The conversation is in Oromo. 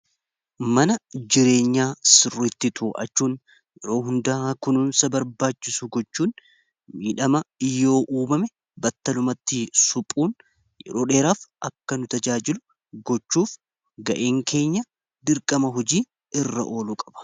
Mana jireenyaa sirriitti yeroo hundaa kunuunsa barbaachisu gochuun miidhama iyyoo uumame battalumatti suphuun yeroo dheeraaf akka nu tajaajilu gochuuf ga'een keenya dirqama hojii irra oluu qaba.